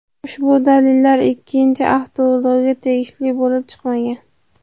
Ushbu dalillar ikkinchi avtoulovga tegishli bo‘lib chiqmagan.